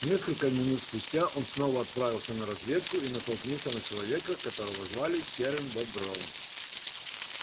несколько минут спустя он снова отправился на разведку и натолкнулся на человека которого звали серым бобром